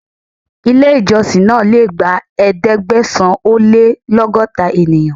Ilé ìjọsìn náà le gba Ẹ̀ẹ́dẹ̀gbẹ̀sán-ó-lé-lọ́gọ́ta ènìyàn.